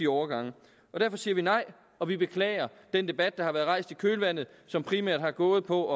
overgange derfor siger vi nej og vi beklager den debat der er blevet rejst i kølvandet som primært har gået på